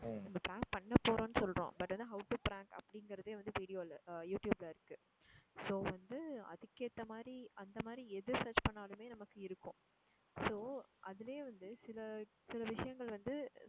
இப்போ prank பண்ண போறோம்னு சொல்றோம் but ஆனா how to prank அப்படிங்குறதே வந்து video ல எர் யூ ட்யூப்ல இருக்கு so வந்து அதுக்கு ஏத்த மாதிரி அந்த மாதிரி எது search பண்ணினாலுமே நமக்கு இருக்கும் so அதுலேயே வந்து சில சில விஷயங்கள் வந்து